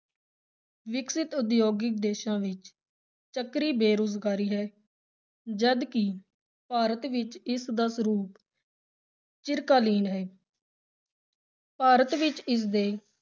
ਵਿਕਸਿਤ ਉਦਯੋਗਿਕ ਦੇਸ਼ਾਂ ਵਿਚ ਚੱਕਰੀ ਬੇਰੁਜ਼ਗਾਰੀ ਹੈ, ਜਦ ਕਿ ਭਾਰਤ ਵਿਚ ਇਸਦਾ ਸਰੂਪ ਚਿਰਕਾਲੀਨ ਹੈ ਭਾਰਤ ਵਿਚ ਇਸ ਦੇ